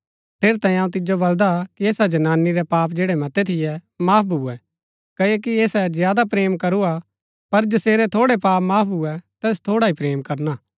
ठेरैतांये अऊँ तिजो बलदा कि ऐसा जनानी रै पाप जैड़ै मतै थियै माफ भुऐ कओकि ऐसै ज्यादा प्रेम करूआ पर जसेरै थोड़ै पाप माफ भुऐ तैस थोड़ा ही प्रेम करना